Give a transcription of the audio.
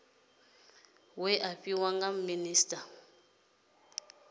we a fhiwa nga minisita